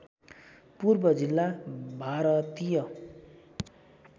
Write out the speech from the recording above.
पूर्व जिल्ला भारतीय